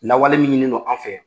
Lawale min ɲininen, no an fɛ